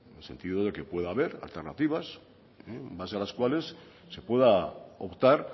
en el sentido de que pueda haber alternativas en base a las cuales se pueda optar